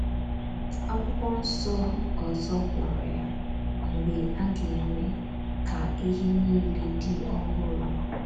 Akwụkwọ nso ọzọ kpọrọ ya “ mgbe a ga - eme ka ihe niile dị ọhụrụ. ”